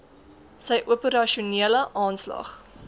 sy operasionele aanslag